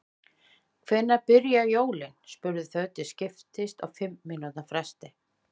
Hvenær byrja jólin? spurðu þau til skiptist á fimm mínútna fresti.